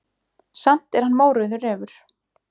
Samt er hann mórauður refur.